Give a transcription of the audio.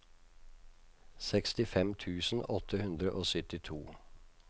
sekstifem tusen åtte hundre og syttito